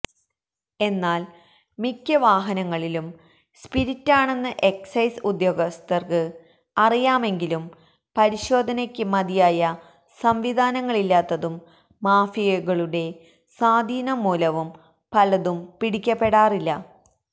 എന്നാല് മിക്ക വാഹനങ്ങളിലും സ്പിരിറ്റാണെന്നത് എക്സൈസ് ഉദ്യോഗസ്ഥര്ക്ക് അറിയാമെങ്കിലും പരിശോധനയ്ക്ക് മതിയായ സംവിധാനങ്ങളില്ലാത്തതും മാഫിയകളുടെസ്വാധീനം മൂലവും പലതും പിടിക്കപ്പെടാറില്ല